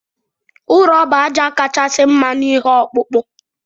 Ụrọ bu aja kachasi mma na ihe ọkpụkpụ.